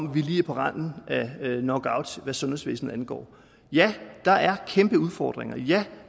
at vi er lige på randen af knockout hvad sundhedsvæsenet angår ja der er kæmpe udfordringer ja